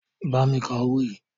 Bámi ka owó yìí.